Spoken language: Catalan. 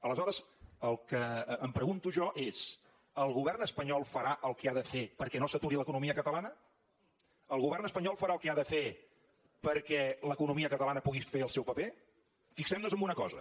aleshores el que em pregunto jo és el govern espanyol farà el que ha de fer perquè no s’aturi l’economia catalana el govern espanyol farà el que ha de fer perquè l’economia catalana pugui fer el seu paper fixem nos en una cosa